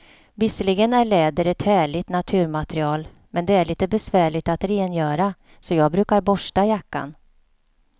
Visserligen är läder ett härligt naturmaterial, men det är lite besvärligt att rengöra, så jag brukar borsta jackan.